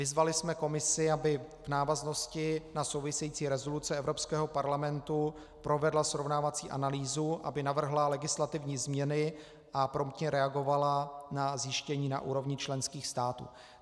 Vyzvali jsme Komisi, aby v návaznosti na související rezoluce Evropského parlamentu provedla srovnávací analýzu, aby navrhla legislativní změny a promptně reagovala na zjištění na úrovni členských států.